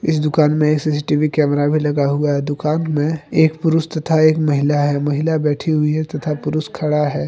इस दुकान में सी_सी_टी_वी कैमरा भी लगा हुआ है दुकान में एक पुरुष तथा एक महिला है महिला बैठी हुई है तथा पुरुष खड़ा है।